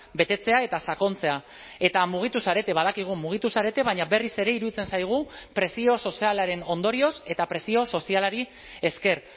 betetzea eta sakontzea eta mugitu zarete badakigu mugitu zarete baina berriz ere iruditzen zaigu presio sozialaren ondorioz eta presio sozialari esker